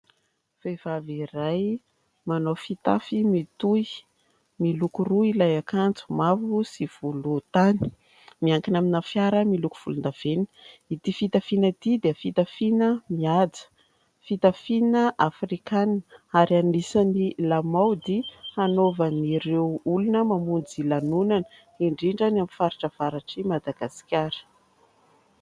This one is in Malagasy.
Vehivavy iray manao fitafy mitohy, miloko roa ilay akanjo: mavo sy volontany. Miankina amina fiara miloko volondavenona. Ity fitafiana ity dia fitafiana mihaja, fitafiana afrikanina ary anisan'ny lamaody hanaovan'ireo olona mamonjy lanonana, indrindra any amin'ny faritra avaratr'i Madagasikara.